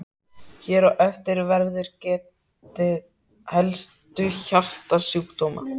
Hér á eftir verður getið helstu hjartasjúkdóma.